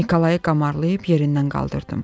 Nikolayı qamarlayıb yerindən qaldırdım.